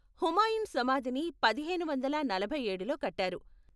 హుమాయూన్ సమాధిని పదిహేను వందల నలభై ఏడులో కట్టారు.